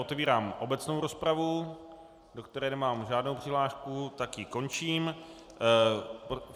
Otevírám obecnou rozpravu, do které nemám žádnou přihlášku, tak ji končím.